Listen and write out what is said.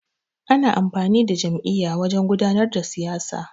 Ana amfani da jam'iyya wajan gudanar da siyasa.